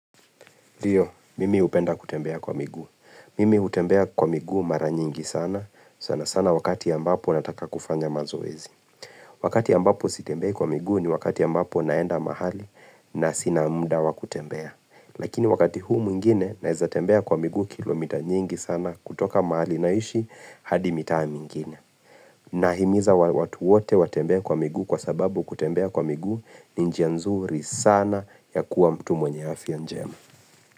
Ndiyo, mimi hupenda kutembea kwa migu. Mimi hutembea kwa miguu mara nyingi sana, sana sana wakati ambapo nataka kufanya mazoezi. Wakati ambapo sitembei kwa miguu ni wakati ambapo naenda mahali na sina mda wa kutembea. Lakini wakati huu mwingine naeza tembea kwa miguu kilomita nyingi sana kutoka mahali naishi hadi mitaa mingine. Nahimiza watu wote watembee kwa miguu kwa sababu kutembea kwa miguu ni njia nzuri sana ya kuwa mtu mwenye afya njema.